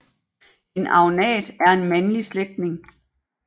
En agnat er en mandlig slægtning